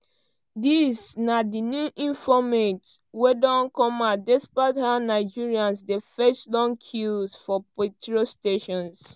dis na di new informate wey don come out despite how nigerians dey face long queues for petrol stations.